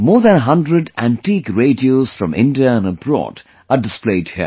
More than a 100 antique radios from India and abroad are displayed here